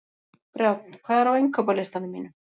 Brjánn, hvað er á innkaupalistanum mínum?